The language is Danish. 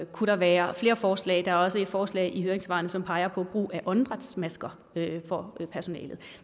kunne der være flere forslag der er også et forslag i høringssvarene som peger på brug af åndedrætsmasker for personalet